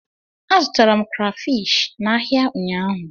Azụtara m krafish n'ahịa ụnyaahụ.